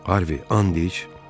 Harvi, and iç!